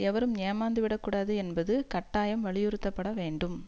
எவரும் ஏமாந்துவிடக் கூடாது என்பது கட்டாயம் வலியுறுத்தப்பட வேண்டும்